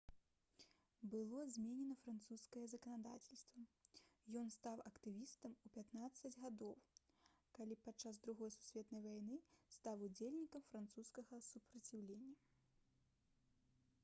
было зменена французскае заканадаўства ён стаў актывістам у 15 гадоў калі падчас другой сусветнай вайны стаў удзельнікам французскага супраціўлення